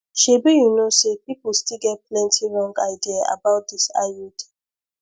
shebi you know say people still get plenty wrong idea about dis iud